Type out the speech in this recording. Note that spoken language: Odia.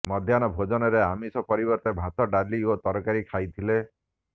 ମଧ୍ୟାହ୍ନ ଭୋଜନରେ ଆମିଷ ପରିବର୍ତ୍ତେ ଭାତ ଡାଲି ଓ ତରକାରୀ ଖାଇଥିଲେ